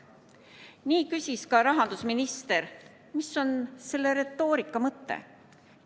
Nii küsis ka rahandusminister: mis on selle retoorika mõte?